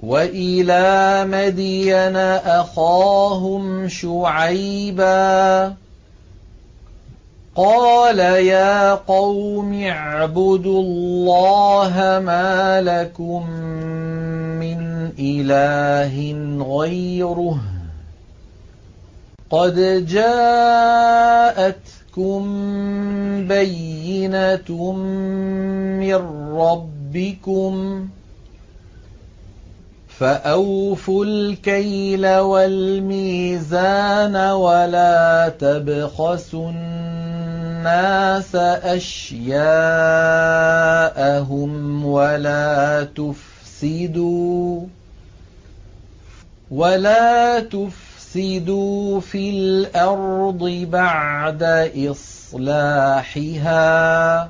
وَإِلَىٰ مَدْيَنَ أَخَاهُمْ شُعَيْبًا ۗ قَالَ يَا قَوْمِ اعْبُدُوا اللَّهَ مَا لَكُم مِّنْ إِلَٰهٍ غَيْرُهُ ۖ قَدْ جَاءَتْكُم بَيِّنَةٌ مِّن رَّبِّكُمْ ۖ فَأَوْفُوا الْكَيْلَ وَالْمِيزَانَ وَلَا تَبْخَسُوا النَّاسَ أَشْيَاءَهُمْ وَلَا تُفْسِدُوا فِي الْأَرْضِ بَعْدَ إِصْلَاحِهَا ۚ